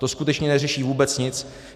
To skutečně neřeší vůbec nic.